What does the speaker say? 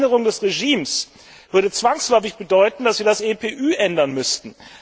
Eine Veränderung des Regimes würde zwangsläufig bedeuten, dass wir das EPÜ ändern müssten.